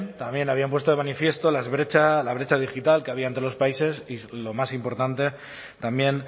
también habían puesto de manifiesto la brecha digital que había entre los países y lo más importante también